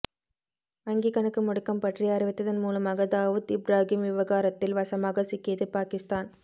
வங்கி கணக்கு முடக்கம் பற்றி அறிவித்ததன் மூலமாக தாவூத் இப்ராகிம் விவகாரத்தில் வசமாக சிக்கியது பாகிஸ்தான்